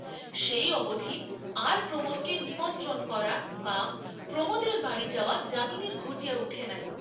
সেই অবধি আর প্রমােদকে নিমন্ত্রণ করা বা প্রমোদের বাড়ী যাওয়া যামিনীর ঘটিয়া উঠে নাই।